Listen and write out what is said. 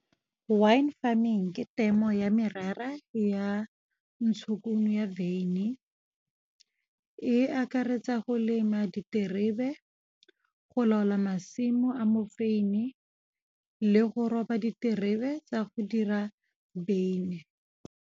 Wine farming ke temo ya merara ya ntshokuno ya beine. E akaretsa go lema diterebe, go laola masimo a mofeini, le go roba diterebe tsa go dira beine.